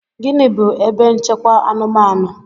Gịnị bu ebe nchekwa anụmanụ?